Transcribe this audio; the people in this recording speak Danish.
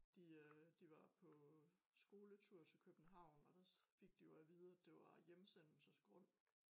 De øh de var på skoletur til København og der fik de jo at vide at det var hjemsendelsesgrund